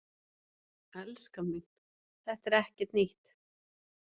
Elskan mín, þetta er ekkert nýtt.